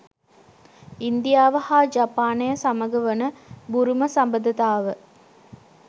ඉන්දියාව හා ජපානය සමග වන බුරුම සබඳතාව